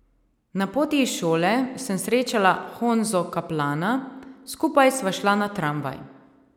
Na poti iz šole sem srečala Honzo Kaplana, skupaj sva šla na tramvaj.